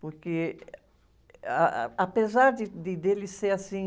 Porque, ah, apesar de, dele ser assim...